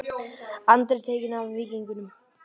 Andri tekinn við Víkingum